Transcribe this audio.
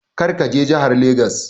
Kar ka je jahar Legas!